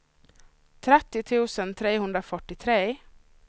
trettio tusen trehundrafyrtiotre